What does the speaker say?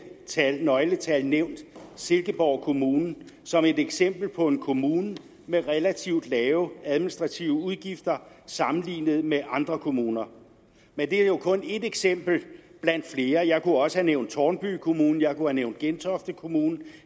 nøgletal nævnt silkeborg kommune som et eksempel på en kommune med relativt lave administrative udgifter sammenlignet med andre kommuner men det er jo kun et eksempel blandt flere jeg kunne også have nævnt tårnby kommune jeg kunne have nævnt gentofte kommune